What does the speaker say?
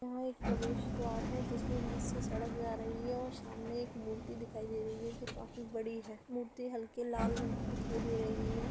यहाँ एक प्रवेश द्वारा है जिसमे बीच से सड़क जा रही है और सामने एक मूर्ति दिखाई दे रही है जो कि काफ़ी बडी है। मूर्ति हल्की लाल रंग की दिखाई दे रही है।